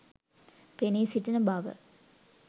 පෙනී සිටින බව.